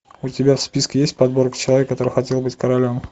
у тебя в списке есть подборка человек который хотел быть королем